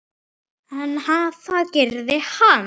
En það gerði hann.